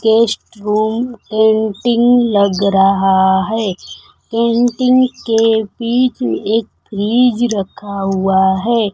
Guest room painting लग रहा है पेंटिंग के बीच एक फ्रिज रखा हुआ है।